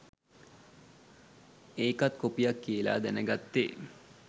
ඒකත් කොපියක් කියලා දැන ගත්තේ.